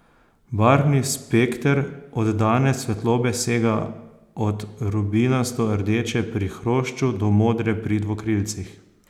Barvni spekter oddane svetlobe sega od rubinasto rdeče pri hrošču do modre pri dvokrilcih.